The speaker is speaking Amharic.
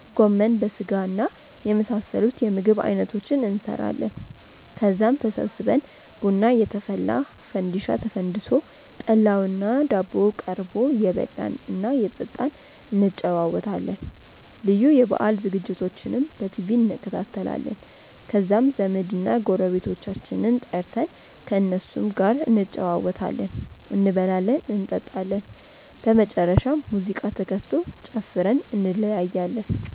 ጎመን በስጋና የመሳሰሉት የምግብ አይነቶችን እንሰራለን። ከዛም ተሰብስበን ቡና እየተፈላ፣ ፈንዲሻ ተፈንድሶ፣ ጠላውና ዳቦው ቀርቦ እየበላን እና እየጠጣን እንጨዋወታለን። ልዩ የበአል ዝግጅቶችንም በቲቪ እንከታተላለን። ከዛም ዘመድና ጎረቤቶቻችንን ጠርተን ከእነሱም ጋር እንጨዋወታለን፤ እንበላለን እንጠጣለን። በመጨረሻም ሙዚቃ ተከፍቶ ጨፍረን እንለያያለን።